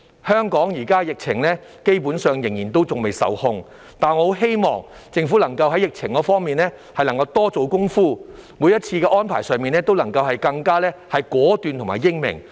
香港目前的疫情基本上仍未受控，但我很希望政府能夠在疫情方面多做工夫，每一次的安排都能更加果斷和英明。